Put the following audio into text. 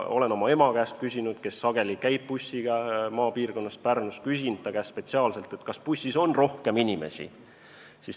Olen küsinud ka oma ema käest, kes sageli käib bussiga maapiirkonnast Pärnus, spetsiaalselt, kas bussis on rohkem inimesi.